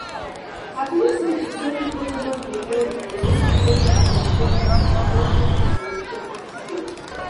i believe sey to settle co- ten ant gbege dey need effective communication and conflict resolution skills.